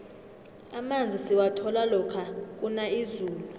amanzi siwathola lokha kuna izulu